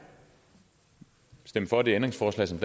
stemme for det ændringsforslag som